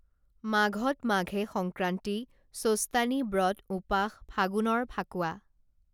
মাঘত মাঘে সংক্ৰান্তি চোস্তানী ব্ৰত ঊপাস ফাগুণৰ ফাকোৱা